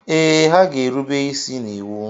Ee, ha ga-erube isi n'iwu.